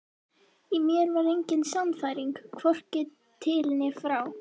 Í mér var engin sannfæring, hvorki til né frá.